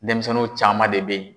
Denmisɛnniw caman de bɛ ye.